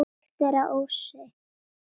Slíkt er að ósekju.